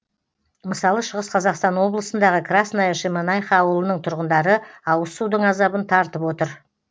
мысалы шығыс қазақстан облысындағы красная шемонаиха ауылының тұрғындары ауызсудың азабын тартып отыр